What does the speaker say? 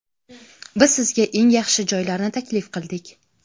biz sizga eng yaxshi joylarni taklif qildik.